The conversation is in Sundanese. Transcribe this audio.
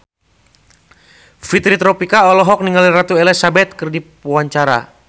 Fitri Tropika olohok ningali Ratu Elizabeth keur diwawancara